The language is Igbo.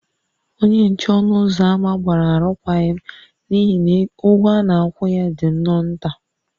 Onye nche ọnụ ụzọ ámá gbara arụkwaghịm n’ihi na ụgwọ a na-akwụ ya dị nnọọ nta